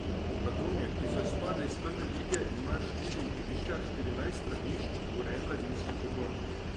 Radomlje, ki so izpadle iz prve lige, imajo štiri igrišča, štirinajst stranišč, urejen mladinski pogon...